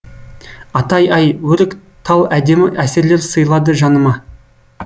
атай ай өрік тал әдемі әсерлер сыйлады жаныма